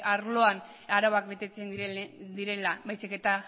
arloan arauak betetzen direla baizik eta